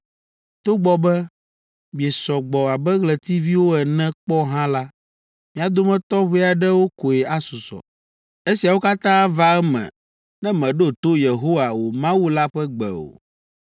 Togbɔ be miesɔ gbɔ abe ɣletiviwo ene kpɔ hã la, mia dometɔ ʋɛ aɖewo koe asusɔ. Esiawo katã ava eme ne mèɖo to Yehowa, wò Mawu la ƒe gbe o.